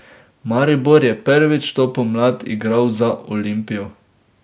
Maribor je prvič to pomlad igral za Olimpijo.